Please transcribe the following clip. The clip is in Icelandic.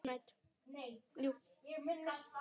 Aldrei gefist upp.